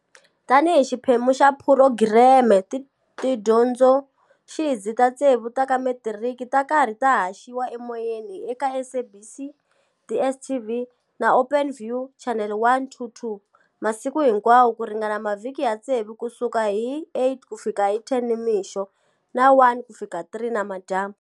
Tanihi xiphemu xa phurogireme, tidyondzoxidzi ta ntsevu ta ka metiriki ta karhi ta haxiwa emoyeni eka SABC, DSTV na Openview, chanele 122, masiku hinkwawo ku ringana mavhiki ya ntsevu ku suka hi 8 ku fika 10 nimixo na 1 ku fika 3 nimadyambu.